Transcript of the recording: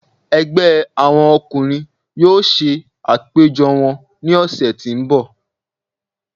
Ẹgbẹ àwọn ọkùnrin yóò ṣe àpéjọ wọn ní ọ̀sẹ̀ tí ń bọ̀.